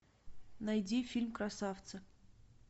найди фильм красавцы